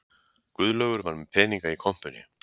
Guðlaugur var með peninga í kompunni